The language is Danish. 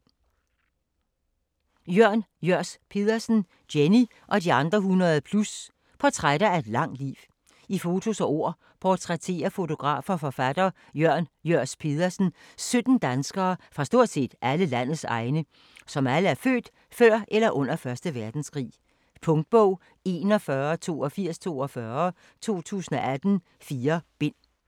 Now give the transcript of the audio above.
Jørs Pedersen, Jørn: Jenny og de andre 100+: portrætter af et langt liv I fotos og ord portrætterer fotograf og forfatter Jørn Jørs Pedersen 17 danskere fra stort set alle landets egne, som alle er født før eller under 1. verdenskrig. Punktbog 418242 2018. 4 bind.